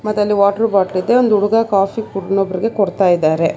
ಇದರಲ್ಲಿ water bottle ಇದೆ ಒಂದು ಹುಡುಗ ಕಾಫಿ ಇನ್ನೊಬ್ಬರಿಗೆ ಕೊಡ್ತಾ ಇದ್ದಾರೆ.